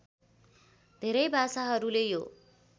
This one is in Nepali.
धेरै भाषाहरूले यो